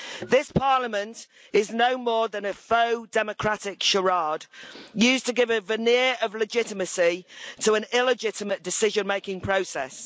This Parliament is no more than a faux democratic charade used to give a veneer of legitimacy to an illegitimate decision making process.